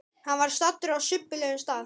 Hann var staddur á subbulegum stað.